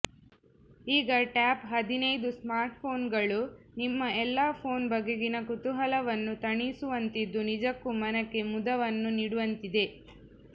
ಈಗ ಟಾಪ್ ಹದಿನೈದು ಸ್ಮಾರ್ಟ್ಫೋನ್ಗಳು ನಿಮ್ಮ ಎಲ್ಲಾ ಫೋನ್ ಬಗೆಗಿನ ಕುತೂಹಲವನ್ನು ತಣಿಸುವಂತಿದ್ದು ನಿಜಕ್ಕೂ ಮನಕೆ ಮುದವನ್ನು ನೀಡುವಂತಿದೆ